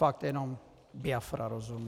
Fakt jenom Biafra rozumu.